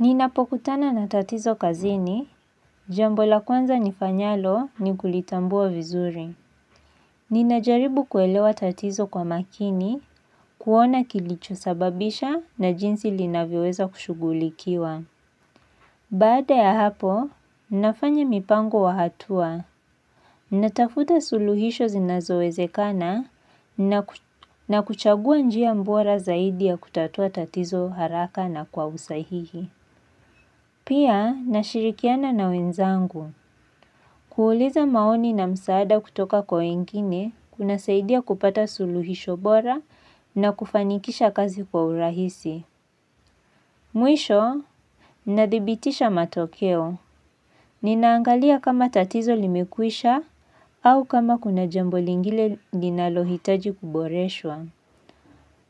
Ninapokutana na tatizo kazini, jambo la kwanza nifanyalo ni kulitambua vizuri. Ninajaribu kuelewa tatizo kwa makini, kuona kilicho sababisha na jinsi linavyoweza kushughulikiwa. Baada ya hapo, nafanya mipango wa hatua. Natafuta suluhisho zinazowezekana na kuchagua njia bora zaidi ya kutatua tatizo haraka na kwa usahihi. Pia, nashirikiana na wenzangu. Kuuuliza maoni na msaada kutoka wengine, kuna saidia kupata suluhisho bora na kufanikisha kazi kwa urahisi. Mwisho, nadhibitisha matokeo. Ninaangalia kama tatizo limekwisha au kama kuna jambolingile ninalohitaji kuboreshwa.